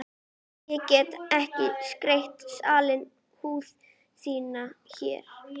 Ég get ekki sleikt salta húð þína hér.